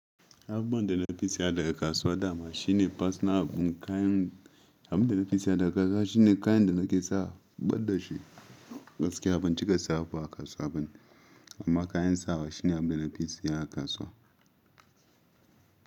Abubuwan da nafi siya daga kasuwa dama shine personal abun kayan, abun da nafi siya daga kasuwa shine kayan da nake sawa, ban da shi gaske ban cika siya abu a kasuwa bane. Amma kayan sawa shine abin da nafi siya a kasuwa.